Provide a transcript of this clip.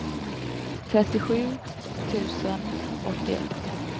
trettiosju tusen åttioett